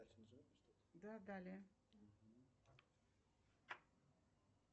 да далее